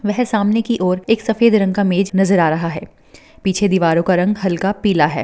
सामने की और एक सफेद रंग का मेज नज़र आ रहा है पीछे दीवारों का रंग हल्का पीला है।